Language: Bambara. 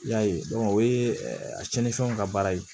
I y'a ye o ye a cɛnnifɛnw ka baara ye